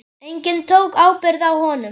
Enginn tók ábyrgð á honum.